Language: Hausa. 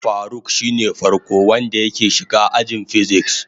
Faruk shine farko wanda yake shiga ajin "physics".